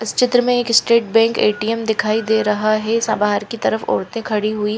इस चित्र में एल स्टेट बैंक ए_टी_एम दिखाई दे रहा है सा बहार की तरफ ओरते खड़ी हुई --